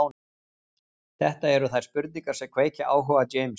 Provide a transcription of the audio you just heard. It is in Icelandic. Þetta eru þær spurningar sem kveikja áhuga James.